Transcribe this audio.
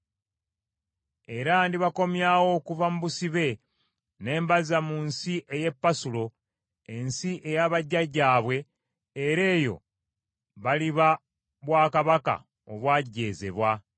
era ndibakomyawo okuva mu busibe ne mbazza mu nsi ey’e Pasulo, ensi eya bajjajjaabwe, era eyo baliba bwakabaka obwajeezebwa.